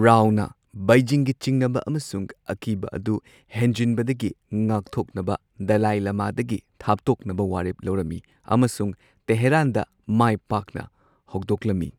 ꯔꯥꯎꯅꯥ ꯕꯩꯖꯤꯡꯒꯤ ꯆꯤꯡꯅꯕ ꯑꯃꯁꯨꯡ ꯑꯀꯤꯕ ꯑꯗꯨ ꯍꯦꯟꯖꯤꯟꯕꯗꯒꯤ ꯉꯥꯛꯊꯣꯛꯅꯕ ꯗꯂꯥꯏ ꯂꯃꯥꯗꯒꯤ ꯊꯥꯞꯇꯣꯛꯅꯕ ꯋꯥꯔꯦꯞ ꯂꯧꯔꯝꯃꯤ ꯑꯃꯁꯨꯡ ꯇꯦꯍꯔꯥꯟꯗ ꯃꯥꯏ ꯄꯥꯛꯅ ꯍꯧꯗꯣꯛꯂꯝꯃꯤ꯫